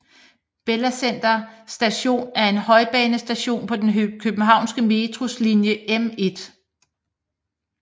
Bella Center Station er en højbanestation på den københavnske Metros linje M1